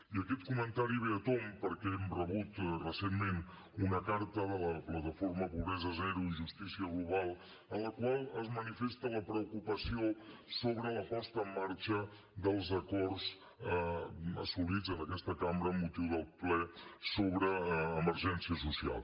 i aquest comentari ve a tomb perquè hem rebut recentment una carta de la plataforma pobresa zero justícia global en la qual es manifesta la preocupació sobre la posada en marxa dels acords assolits en aquesta cambra amb motiu del ple sobre emergència social